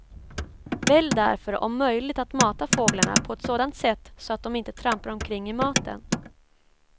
Välj därför om möjligt att mata fåglarna på ett sådant sätt så att de inte trampar omkring i maten.